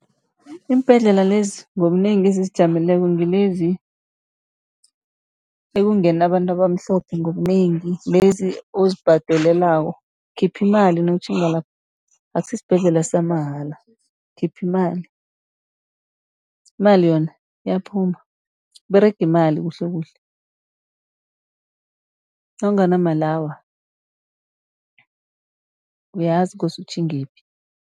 Iimbhedlela lezi ngobunengi ezizijameleko ngilezi ekungena abantu abamhlophe ngobunengi. Lezi ozibhadelelako, ukhipha imali nawutjhinga lapho, akusi sibhedlela samahala. Ukhipha imali, imali yona iyaphuma kuberega imali kuhlekuhle, nawunganamali awa uyazi kose utjhingephi.